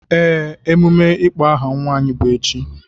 Ee, emume n'ịkpọ aha nwa anyị bụ echi.